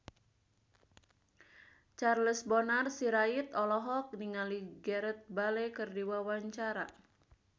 Charles Bonar Sirait olohok ningali Gareth Bale keur diwawancara